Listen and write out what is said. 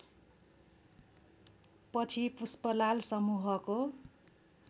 पछि पुष्पलाल समूहको